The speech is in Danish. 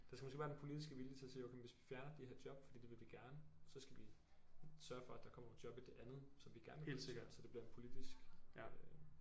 Der skal måske være den politiske vilje til at sige okay hvis vi fjerner de her job for det vil vi gerne så skal vi sørge for at der kommer nogle job i det andet som vi gerne vil så det bliver en politisk øh